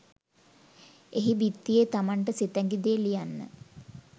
එහි බිත්තියේ තමන්ට සිතැඟි දේ ලියන්න